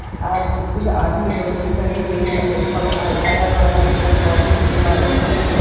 आद कुछ आदमी लोग भी खड़े हुए है एक बग आ अगल-बगल हरे पेड़-पौधे भी है बादल सफेद है।